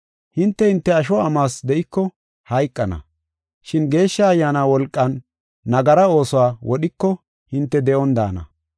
Hinte, hinte asho amuwas de7iko hayqana, shin Geeshsha Ayyaana wolqan nagara oosuwa wodhiko hinte de7on daana.